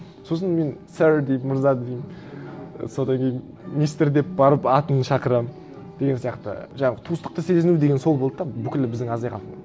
сосын мен сёр деп мырза деймін содан кейін мистер деп барып атын шақырамын деген сияқты жаңағы туыстықты сезіну деген сол болды да бүкілі біздің азия халқы